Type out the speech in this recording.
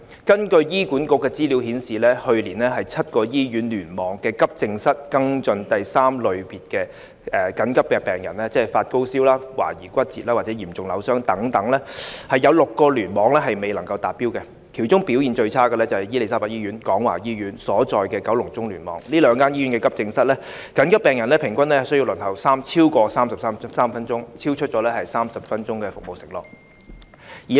根據醫院管理局的資料，去年7個醫院聯網的急症室跟進第三類別的緊急病人，即發高燒、懷疑骨折或嚴重扭傷等病人，有6個聯網未能達標，其中表現最差的是伊利沙伯醫院和廣華醫院所在的九龍中聯網，這兩間醫院急症室的緊急病人平均需要輪候超過33分鐘，超出30分鐘的服務承諾。